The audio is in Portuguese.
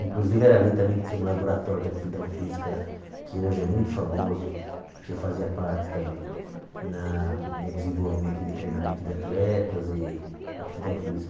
Inclusive era ali também que tinha um laboratório de aptidão física que hoje é muito famoso, que eu fazia parte também na no desenvolvimento de treinamento de atletas e aptidão